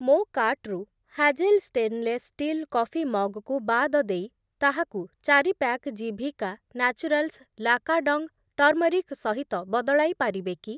ମୋ କାର୍ଟ୍‌ରୁ Hazel stainless steel coffee mug କୁ ବାଦ ଦେଇ ତାହାକୁ ଚାରି pack Jiwika Naturals Lakadong turmeric ସହିତ ବଦଳାଇ ପାରିବେ କି?